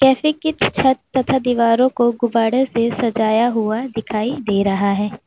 Cafe की छत तथा दीवारों को गुब्बारों से सजाया हुआ दिखाइ दे रहा है।